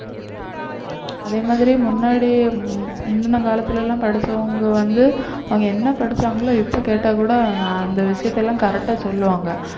அதே மாதிரி முன்னாடி முந்தின காலத்துல எல்லாம் படிச்சவங்க வந்து அவங்க என்ன படிச்சாங்களோ இப்ப கேட்டா கூட அந்த விஷயத்த எல்லாம் correct ஆ சொல்லுவாங்க